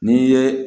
N'i ye